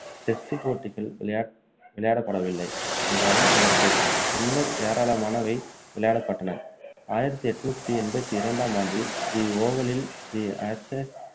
test போட்டிகள் விளையா~ விளையாடப்படவில்லை இருந்தாலும் அதற்கு பின்னர் ஏராளமானவை விளையாடப்பட்டன ஆயிரத்து எண்ணூற்று எண்பத்து இரண்டாம் ஆண்டில் தி ஓவலில், தி ஆஷேஸ்